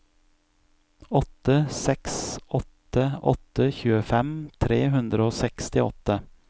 åtte seks åtte åtte tjuefem tre hundre og sekstiåtte